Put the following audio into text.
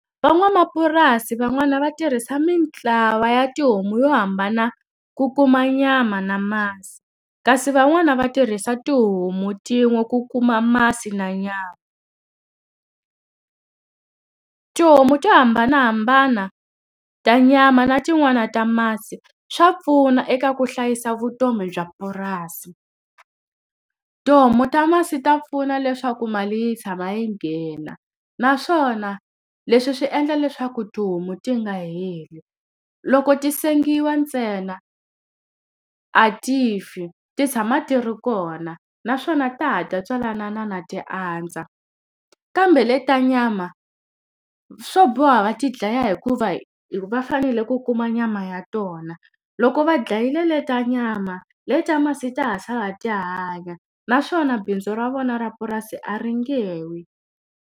Van'wamapurasi van'wani va tirhisa mintlawa ya tihomu yo hambana ku kuma nyama na masi, kasi van'wani va tirhisa tihomu tin'we ku kuma masi na nyama. . Tihomu to hambanahambana ta nyama na tin'wani ta masi, swa pfuna eka ku hlayisa vutomi bya purasi. Tihomu ta masi ta pfuna leswaku mali yi tshama yi nghena, naswona leswi swi endla leswaku tihomu ti nga heli. Loko ti sengiwa ntsena, a ti fi, ti tshama ti ri kona naswona ta ha ta tswalana ti andza, kambe leti ta nyama swo boha va ti dlaya hikuva va fanele ku kuma nyama ya tona. Loko va dlayile leti ta nyama, leti ta masi ta ha sala ti hanya. Naswona bindzu ra vona ra purasi a ri nge wi.